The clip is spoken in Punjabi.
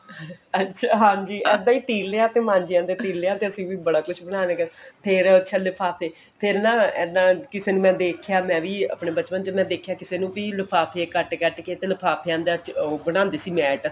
ਅੱਛਾ ਹਾਂਜੀ ਅੱਧੇ ਟਿਲਿਆ ਤੇ ਮਾਂਜਿਆ ਦੇ ਟਿਲਿਆ ਤੇ ਬੜਾ ਕੁੱਛ ਬਣਾਨ ਗਏ ਫੇਰ ਅੱਛਾ ਲਿਫਾਫੇ ਫੇਰ ਨਾ ਏਦਾਂ ਕਿਸੇ ਨੂੰ ਦੇਖਿਆ ਮੈਂ ਵੀ ਆਪਣੇ ਬਚਪਨ ਚ ਦੇਖਿਆ ਮੈਂ ਵੀ ਕਿਸੇ ਨੂੰ ਵੀ ਲਿਫਾਫੇ ਕੱਟ ਕੱਟ ਕੇ ਤੇ ਲਿਫਾਫਿਆ ਦਾ ਉਹ ਬਣਾਉਂਦੀ ਸੀ mat